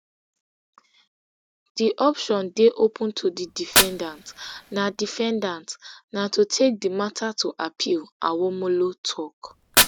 di option open to di defendant na defendant na to take di matter to appeal awomolo tok